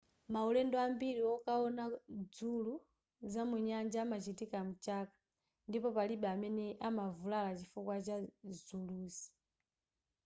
maulendo ambiri wokaona dzulu za munyanja amachitika mchaka ndipo palibe amene amavulala chifukwa chazuluzi